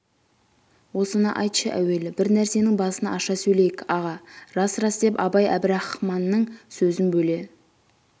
осыны айтшы әуелі бір нәрсенің басын аша сөйлейік аға рас рас деп абай әбірахманның сөзін бөле